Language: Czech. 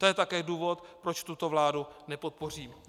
To je také důvod, proč tuto vládu nepodpořím.